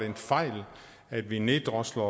en fejl at vi neddrosler